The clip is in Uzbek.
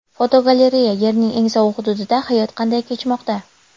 Fotogalereya: Yerning eng sovuq hududida hayot qanday kechmoqda?.